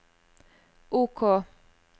OK